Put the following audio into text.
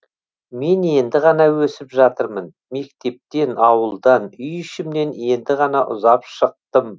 мен енді ғана өсіп жатырмын мектептен ауылдан үй ішімнен енді ғана ұзап шықтым